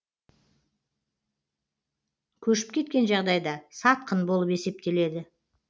көшіп кеткен жағдайда сатқын болып есептеледі